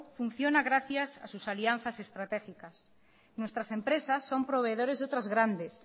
funciona gracias a sus alianzas estratégicas nuestras empresas son proveedores de otras grandes